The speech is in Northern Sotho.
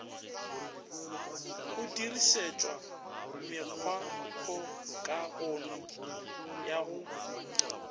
go dirišetšwa mekgwakgokagano ya go